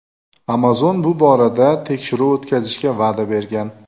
Amazon bu borada tekshiruv o‘tkazishga va’da bergan.